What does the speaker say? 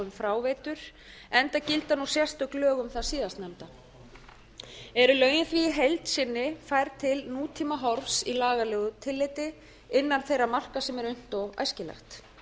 fráveitur enda gilda nú sérstök lög um það síðastnefnda eru lögin því í heild sinni færð til nútímahorfs í lagalegu tilliti innan þeirra marka sem er unnt og æskilegt